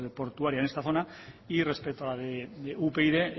portuaria en esta zona y respecto a upyd